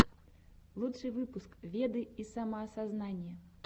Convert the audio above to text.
лучший выпуск веды и самоосознание